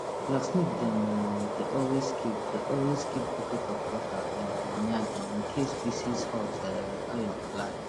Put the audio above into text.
blacksmith dem um dey always keep dey always keep bucket of water um near dem incase pieces hot um iron fly